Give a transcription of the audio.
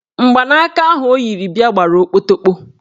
Mgbanaka ahụ o yiri bịa gbara okpotokpo.